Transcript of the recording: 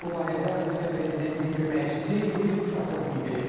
Bu barədə Rusiya prezidentinin köməkçisi Yuri Uşakov bildirib.